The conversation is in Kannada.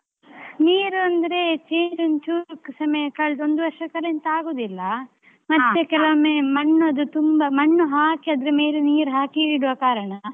ನೀರಂದ್ರೆ change ಒಂದ್ ಚೂರು ಸಮಯ ಕಳ್ದುಒಂದು ವರ್ಷಕೆಲ್ಲಾ ಎಂತ ಆಗುದಿಲ್ಲಾ ಮಣ್ಣದು ತುಂಬಾ ಮಣ್ಣು ಹಾಕಿ ಅದ್ರ ಮೇಲೆ ನೀರ್ ಹಾಕಿ ಇಡುವ ಕಾರಣ.